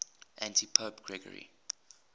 antipope gregory